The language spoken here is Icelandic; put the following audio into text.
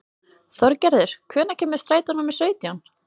Þorgerður, hvenær kemur strætó númer sautján?